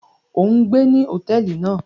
O n gbé ní hotẹẹli náà!